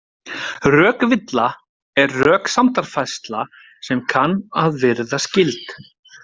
Rökvilla er röksemdafærsla sem kann að virðast gild.